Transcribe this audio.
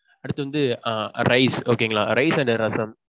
அடுத்து வந்து rice okay ங்களா rice and ரசம்.